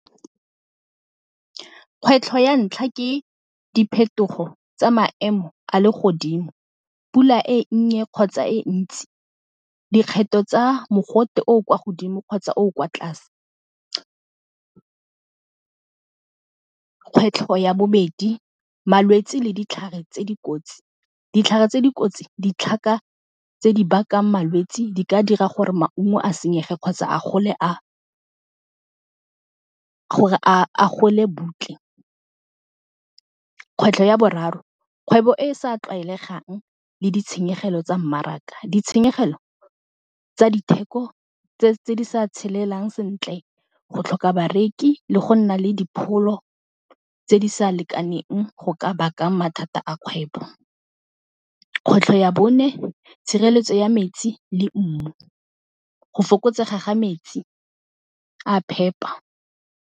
Kgwetlho ya ntlha ke diphetogo tsa maemo a legodimo, pula e nnye kgotsa e ntsi, dikgetho tsa mogote o o kwa godimo kgotsa o o kwa tlase. Kgwetlho ya bobedi malwetsi le ditlhare tse di kotsi. Ditlhare tse di kotsi ditlhaka tse di bakang malwetsi di ka dira gore maungo a senyege kgotsa a gole butle. Kgwetlho ya boraro, kgwebo e e sa tlwaelegang le ditshenyegelo tsa mmaraka, ditshenyegelo tsa ditheko tse di sa tshelelang sentle, go tlhoka bareki le go nna le dipholo tse di sa lekaneng go ka bakang mathata a kgwebo. Kgwetlho ya bone tshireletso ya metsi le mmu go fokotsega ga metsi a a phepa.